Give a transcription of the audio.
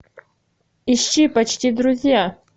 ищи почти друзья